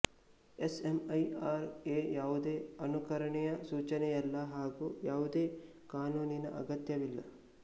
S M E R A ಯಾವುದೆ ಅನುಕರಣೆಯ ಸೂಚನೆಯಲ್ಲ ಹಾಗೂ ಯಾವುದೆ ಕಾನೂನಿನ್ನ ಅಗತ್ಯವಿಲ್ಲ